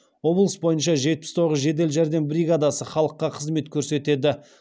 облыс бойынша жетпіс тоғыз жедел жәрдем бригадасы халыққа қызмет көрсетеді